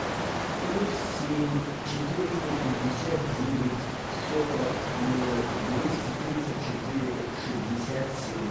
плюс семь четыреста пятьдесят девять сорок ноль двести тридцать четыре шестьдесят семь